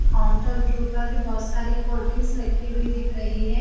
Counter के ऊपर भी बहोत सारी कोल्ड्रिंक्स रखी हुई दिख रही है।